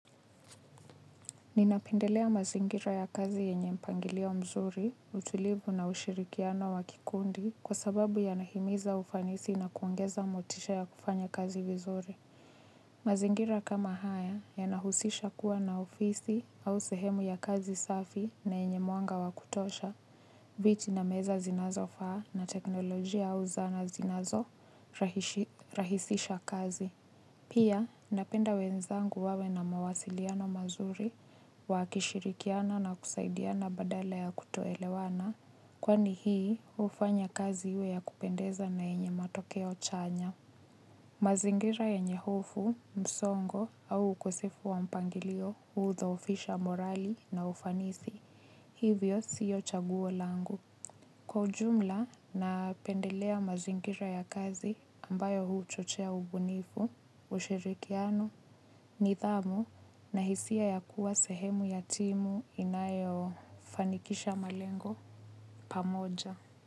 Ninapendelea mazingira ya kazi yenye mpangilio mzuri, utulivu na ushirikiano wa kikundi kwa sababu yanahimiza ufanisi na kuongeza motisha ya kufanya kazi vizuri. Mazingira kama haya yanahusisha kuwa na ofisi au sehemu ya kazi safi na yenye mwanga wa kutosha, viti na meza zinazofaa, na teknolojia au zana zinazorahisisha kazi. Pia, napenda wenzangu wawe na mawasiliano mazuri, wakishirikiana na kusaidiana badala ya kutoelewana, kwani hii hufanya kazi iwe ya kupendeza na yenye matokeo chanya. Mazingira yenye hofu, msongo au ukosefu wa mpangilio hudhoofisha morali na ufanisi, hivyo si chaguo langu. Kwa jumla, napendelea mazingira ya kazi ambayo huchochea ubunifu, ushirikiano, nidhamu na hisia ya kuwa sehemu ya timu inayofanikisha malengo pamoja.